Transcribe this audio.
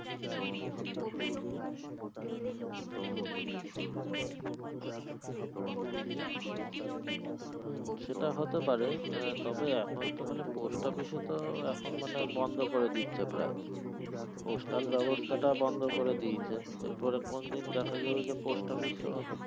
হুম সেটা হতে পায়ের আহ তবে এখন তো মানে post office এ তো এখন মানে বন্ধ করে দিচ্ছে প্রায় postal ব্যাবস্থাটা বন্ধ করে দিয়েছে এর পরে কোন দিন দেখা যাবে post office ও